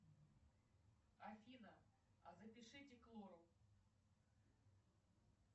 афина а запишите к лору